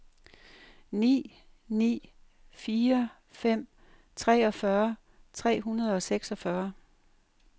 ni ni fire fem treogfyrre tre hundrede og seksogfyrre